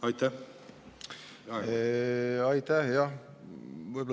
Aitäh!